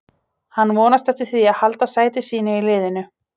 Hann vonast eftir því að halda sæti sínu í liðinu.